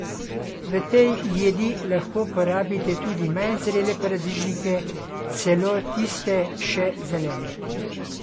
V tej jedi lahko porabite tudi manj zrele paradižnike, celo tiste še zelene.